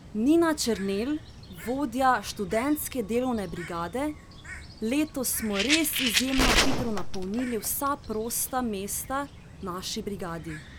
Nina Černelj, vodja Študentske delovne brigade: "Letos smo res izjemno hitro napolnili vsa prosta mesta v naši brigadi.